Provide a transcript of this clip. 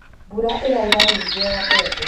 mbura ĩraura nyingĩ ya mbembe